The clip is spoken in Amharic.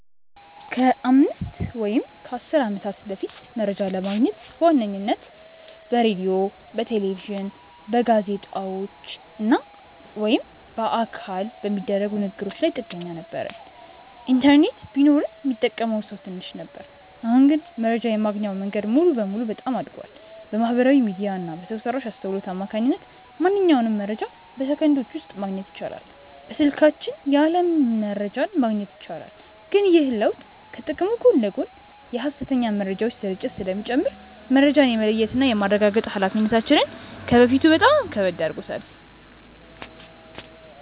ከአምስት ወይም ከአሥር ዓመታት በፊት መረጃ ለማግኘት በዋነኝነት በሬዲዮ፣ በቴሌቪዥን፣ በጋዜጦች ወይም በአካል በሚደረጉ ንግ ግሮች ላይ ጥገኛ ነበርን። ኢንተርኔት ቢኖርም ሚጠቀመው ሰው ትንሽ ነበር። አሁን ግን መረጃ የማግኛው መንገድ ሙሉ በሙሉ በጣም አድጓል። በማህበራዊ ሚዲያ እና በሰው ሰራሽ አስውሎት አማካኝነት ማንኛውንም መረጃ በሰከንዶች ውስጥ ማግኘት ይቻላል። በስልካችን የዓለም መረጃን ማግኘት ይቻላል። ግን ይህ ለውጥ ከጥቅሙ ጎን ለጎን የሐሰተኛ መረጃዎች ስርጭትን ስለሚጨምር፣ መረጃን የመለየትና የማረጋገጥ ኃላፊነታችንን ከበፊቱ በበለጠ ከባድ አድርጎታል።